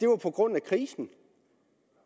var på grund af krisen